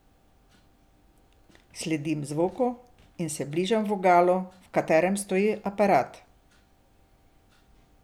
Sledim zvoku in se bližam vogalu, v katerem stoji aparat.